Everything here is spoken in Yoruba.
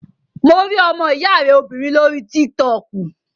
Mo rí ọmọ ìyá rẹ obìnrin lórí tík-tọkù